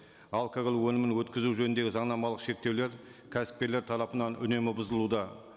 алкоголь өнімін өткізу жөніндегі заңнамалық шектеулер кәсіпкерлер тарапынан үнемі бұзылуда